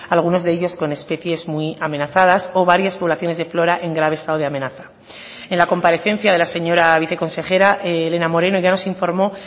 algunos de ellos con especies muy amenazadas o varias poblaciones de flora en grave estado de amenaza en la comparecencia de la señora viceconsejera elena moreno ya nos informó